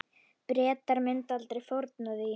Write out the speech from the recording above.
Bretar myndu aldrei fórna því.